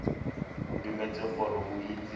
o dumetse gore o itse